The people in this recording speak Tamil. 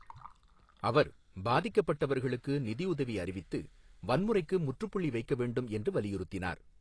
அவர் பாதிக்கப்பட்டவர்களுக்கு நிதியுதவி அறிவித்து வன்முறைக்கு முற்றுப்புள்ளி வைக்க வேண்டும் என்று வலியுறுத்தினார்.